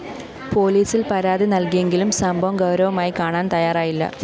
പോലീസില്‍ പരാതി നല്‍കിയെങ്കിലും സംഭവം ഗൗരവമായി കാണാന്‍ തയാറായില്ല